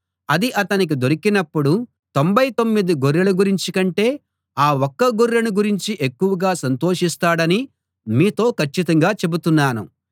అది అతనికి దొరికినప్పుడు తొంభై తొమ్మిది గొర్రెల గురించి కంటే ఆ ఒక్క గొర్రెను గురించి ఎక్కువగా సంతోషిస్తాడని మీతో కచ్చితంగా చెబుతున్నాను